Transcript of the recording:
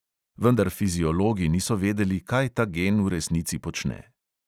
Vendar fiziologi niso vedeli, kaj ta gen v resnici počne.